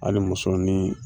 Hali muso ni